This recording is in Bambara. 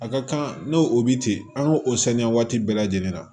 A ka kan n'o o bi ten an k'o o saniya waati bɛɛ lajɛlen na